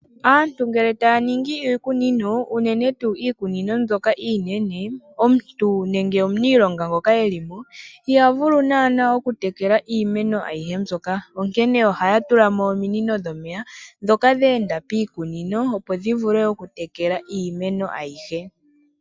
Aantu ngele taya ningi iikunino uunene tuu iikunino mbyoka inene. Omuntu nenge omuniilonga ngoka elimo iha vulu naana oku tekela iimeno ayihe mbyoka onkene ohaya tulamo ominino dhomeya ndhoka dhe enda piikuno opo dhi vule oku tekela iimeno ayihe.